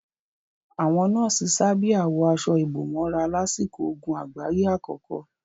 Àwọn nọ́ọ̀sì sábíà wọ aṣọ ìbòmọ́ra lásìkò ogun àgbáyé àkọ́kọ́.